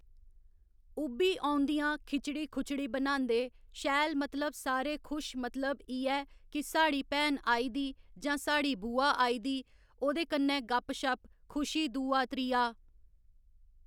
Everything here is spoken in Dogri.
उब्भी औंदियां खिचड़ी खुचड़ी बनांदे शैल मतलब सारे खुश मतलब इयै कि साढ़ी भैन आई दी जां साढ़ी बुआ आई दी ओह्कन्नै गप्प शप्प, खुशी दूआ त्रीया